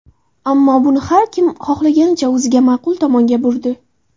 Ammo buni har kim xohlaganicha, o‘ziga ma’qul tomonga burdi.